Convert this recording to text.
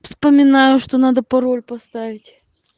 вспоминаю что надо пароль поставить